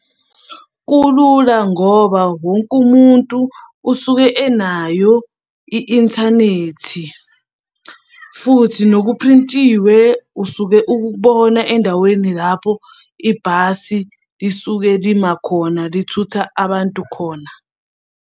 Kulula ngoba wonke umuntu usuke enayo i-inthanethi, futhi nokuprintiwe usuke ukubona endaweni lapho ibhasi lisuke lima khona lithuthuka abantu khona.